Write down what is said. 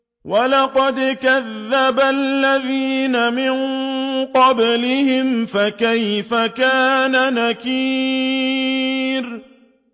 وَلَقَدْ كَذَّبَ الَّذِينَ مِن قَبْلِهِمْ فَكَيْفَ كَانَ نَكِيرِ